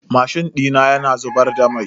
Mashin dina yana zubar da mai.